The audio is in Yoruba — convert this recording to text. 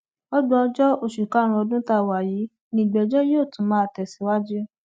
ọgbọnjọ oṣù karùnún ọdún tá a wà yìí ni ìgbẹjọ yóò tún máa tẹsíwájú